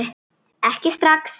Ekki strax